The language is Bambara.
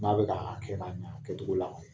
N'a bɛ k'a kɛ ka ɲa a kɛcogo la.